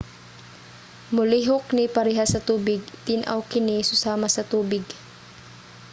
"molihok ni parehas sa tubig. tin-aw kini susama sa tubig